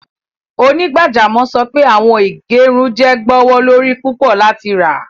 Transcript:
Onígbàjàmọ̀ sọ pé awọn ìgẹ̀rùn jẹ́ gbọwọlorí púpọ̀ láti rá.